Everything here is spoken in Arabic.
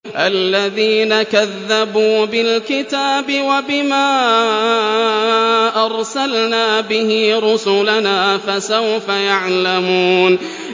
الَّذِينَ كَذَّبُوا بِالْكِتَابِ وَبِمَا أَرْسَلْنَا بِهِ رُسُلَنَا ۖ فَسَوْفَ يَعْلَمُونَ